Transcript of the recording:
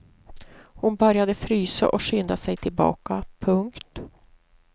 Hon började frysa och skyndade sig tillbaka. punkt